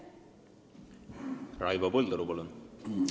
Raivo Põldaru, palun!